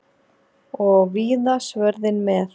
Og víða svörðinn með.